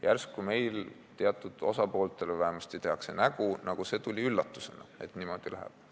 Järsku meil teatud osapooled vähemasti teevad nägu, nagu see oleks tulnud üllatusena, et niimoodi läheb.